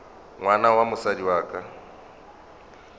ngwana wa mosadi wa ka